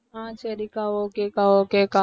ஆஹ் சரிக்கா okay க்கா okay க்கா